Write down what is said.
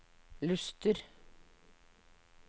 Luster